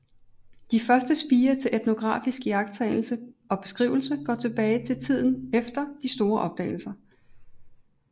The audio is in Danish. De første spirer til etnografisk iagttagelse og beskrivelse går tilbage til tiden efter de store opdagelser